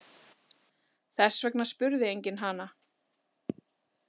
Þess vegna spurði enginn hana.